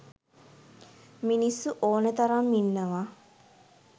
මිනිස්සු ඕන තරම් ඉන්නව.